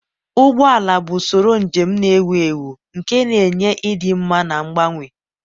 ụgbọ ala bụ usoro njem na-ewu ewu nke na-enye ịdị mma na mgbanwe.